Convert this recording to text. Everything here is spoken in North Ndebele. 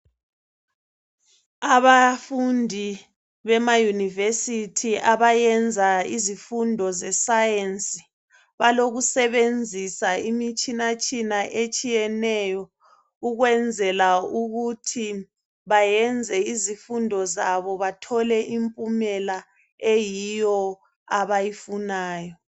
Abafundi bema yunivesithi abayenza izifundo ze sayensi balokusebenzisa imitshinatshina etshiyeneyo ukwenzela ukuthi bayenze izifundo zabo bathole impumela eyiyo abayifunayo